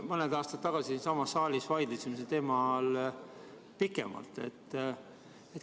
Mõned aastad tagasi me siinsamas saalis vaidlesime selle teema üle pikemalt.